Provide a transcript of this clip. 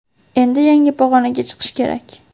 Endi yangi pag‘onaga chiqish kerak.